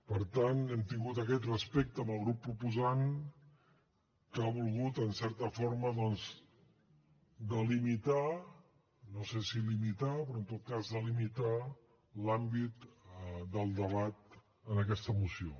per tant hem tingut aquest respecte amb el grup proposant que ha volgut en certa forma doncs delimitar no sé si limitar però en tot cas delimitar l’àmbit del debat en aquesta moció